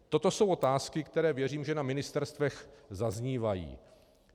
Toto jsou otázky, které věřím, že na ministerstvech zaznívají.